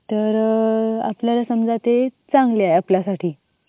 तर आपल्याला समजा ते समजा ते चांगले आहे आपल्यासाठी.